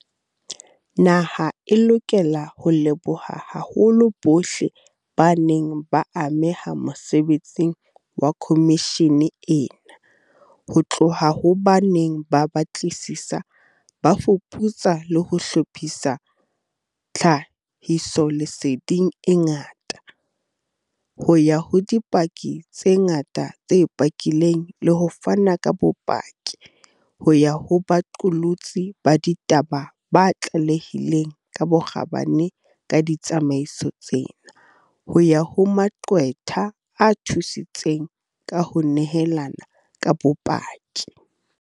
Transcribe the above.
Naha e lokela ho leboha haholo bohle ba neng ba ameha mosebetsing wa khomishene ena, ho tloha ho ba neng ba batlisisa, ba fuputsa le ho hlophisa tlha hisoleseding e ngata, ho ya ho dipaki tse ngata tse pakileng le ho fana ka bopaki, ho ya ho baqolotsi ba ditaba ba tlalehileng ka bokgabane ka ditsamaiso tsena, ho ya ho maqwetha a thusitseng ka ho nehelana ka bopaki.